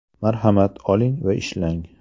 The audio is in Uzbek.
Marhamat oling va ishlang.